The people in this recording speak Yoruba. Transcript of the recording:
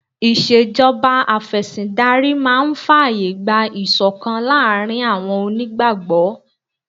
Ìṣèjọba Afẹ̀sìndarí máa fàyè gba ìṣọ̀kan láàárín àwọn onígbàgbọ́